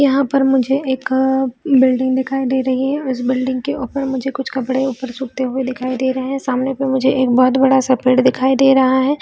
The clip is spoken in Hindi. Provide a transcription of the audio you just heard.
यहाँ पर मुझे एक बिल्डिंग दिखाई दे रही है इस बिल्डिंग के ऊपर मुझे कुछ कपड़े ऊपर सूखते हुए दिखाई दे रही है सामने पे मुझे एक बहोत बड़ा सा पेड़ दिखाई दे रहा है।